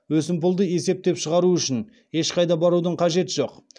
өсімпұлды есептеп шығару үшін ешқайда барудың қажеті жоқ